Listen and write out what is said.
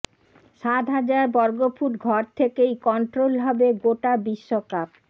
সাত হাজার বর্গফুট ঘর থেকেই কন্ট্রোল হবে গোটা বিশ্বকাপ